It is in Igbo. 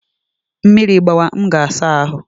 Mmiri gbawa, m ga saa ahụ